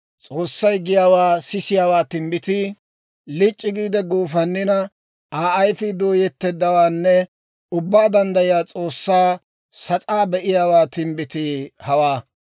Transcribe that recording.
S'oossay giyaawaa sisiyaawaa timbbitii, Lic'c'i giide guufannina, Aa ayfii dooyetteeddawaanne Ubbaa Danddayiyaa S'oossaa sas'aa be'iyaawaa timbbitii hawaa.